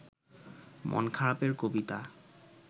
মন খারাপের কবিতা